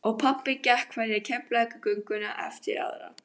Og pabbi gekk hverja Keflavíkurgönguna eftir aðra.